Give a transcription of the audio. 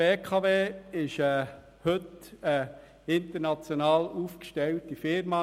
Die BKW ist heute eine international aufgestellte Firma.